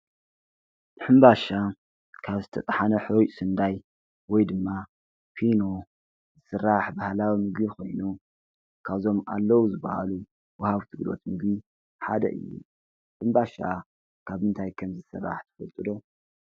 ሕምባሻ ካብ ዝተጣሕነ ሕሩጭ ስንዳይ ወይ ድማ ፊኖ ዝስራሕ ባህላዊ ምግቢ ኮይኑ ካብዞም ኣለዉ ዝበሃሉ ወሃብቲ እንግዶት ሓደ እዩ፡፡ ሕምባሻ ካብ እንታይ ከም ዝስራሕ ትፈልጡ ዶ?